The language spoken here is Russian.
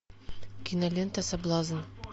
кинолента соблазн